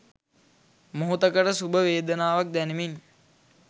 මොහොතකට සුඛ වේදනාවක් දැනෙමින්